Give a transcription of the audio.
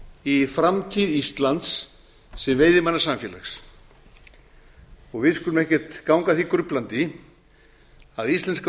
í framtíð íslands sem veiðimannasamfélags og við skulum ekkert ganga að því gruflandi að íslenska